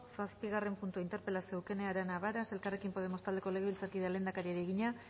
zazpigarren puntua interpelazioa eukene arana varas elkarrekin podemos taldeko legebiltzarkideak lehendakariari egina